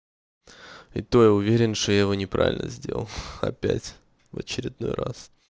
и то я уверен что я его неправильно сделал опять в очередной раз